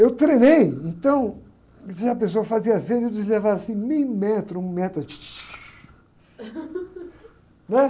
Eu treinei, então, se a pessoa fazia vênia, eles levaram assim meio metro, um metro. Num é?